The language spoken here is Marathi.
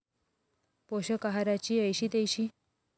पोषक आहाराची ऐशी तैशी